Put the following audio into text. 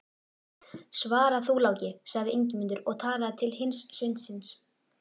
Svara þú, Láki, sagði Ingimundur og talaði til hins sveinsins.